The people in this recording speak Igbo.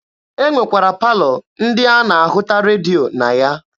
E nwekwara palọ ndị a na-ahụta redio na ya.